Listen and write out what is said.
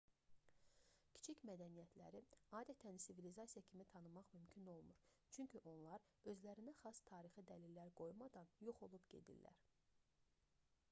kiçik mədəniyyətləri adətən sivilizasiya kimi tanımaq mümkün olmur çünki onlar özlərinə xas tarixi dəlillər qoymadan yox olub gedirlər